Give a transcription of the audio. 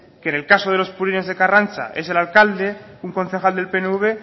que en el caso de los purines de karrantza es el alcalde un concejal del pnv